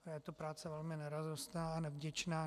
Je to práce velmi neradostná a nevděčná.